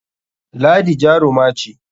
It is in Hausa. Ladi jaruma ce.